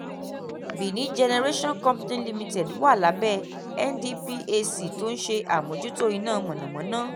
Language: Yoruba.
benin generation company limited wà lábẹ́ ndphc tó ń ṣe àmójútó iná mọ̀nàmọ́ná